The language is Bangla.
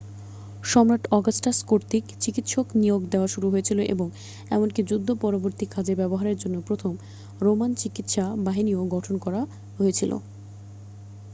সম্রাট অগাস্টাস কর্তৃক চিকিৎসক নিয়োগ দেয়া শুরু হয়েছিল এবং এমনকি যুদ্ধ পরবর্তী কাজে ব্যবহারের জন্য প্রথম রোমান চিকিৎসা বাহিনীও গঠন করা হয়েছিল